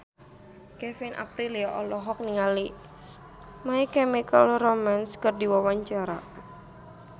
Kevin Aprilio olohok ningali My Chemical Romance keur diwawancara